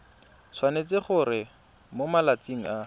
tshwanetse gore mo malatsing a